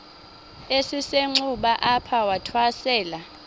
esisenxuba apho wathwasela